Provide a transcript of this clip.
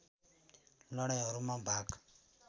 लडाईँहरूमा भाग